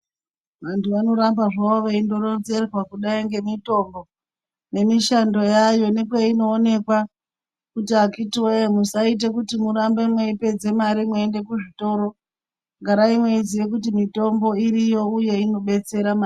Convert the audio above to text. Vanthu vanoramba zvavo zveindoronzerwa kudai ngemitombo nemishando yayo nekweinooneka kuti akhiti woye musaite kiti murambe meipedze mare mweiende kuzvitoro garai mweiziye kuti mitombo iriyo uye inodetsera maningi.